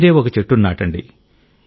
మీరే ఒక చెట్టును నాటండి